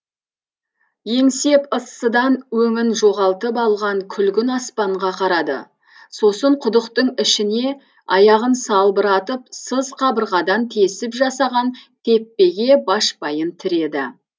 еңсеп ыссыдан өңін жоғалтып алған күлгін аспанға қарады сосын құдықтың ішіне аяғын салбыратып сыз қабырғадан тесіп жасаған теппеге башпайын тіреді